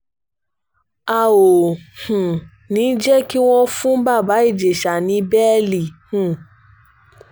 a ò um ní í jẹ́ kí wọ́n fún baba ìjẹsà ní bẹ́ẹ̀lì um